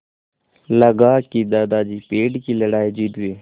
लगा कि दादाजी पेड़ की लड़ाई जीत गए